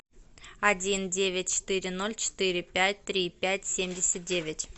один девять четыре ноль четыре пять три пять семьдесят девять